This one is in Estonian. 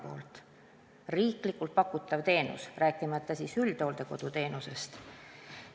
See on riiklikult pakutav teenus, rääkimata üldhooldekodu teenusest.